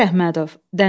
Sabir Əhmədov.